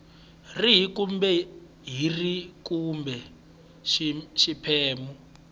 rihi kumbe rihi kumbe xiphemu